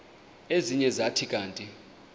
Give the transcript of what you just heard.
ezinye zathi kanti